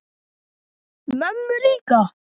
Mömmu líka?